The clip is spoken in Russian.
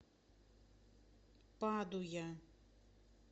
падуя